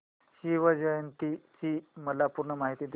शिवजयंती ची मला पूर्ण माहिती दे